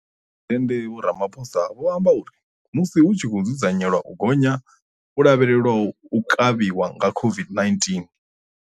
Muphuresidennde Vho Ramaphosa vho amba uri, musi hu tshi khou dzudzanyelwa u gonya ho lavhelelwaho ha u kavhiwa nga COVID-19.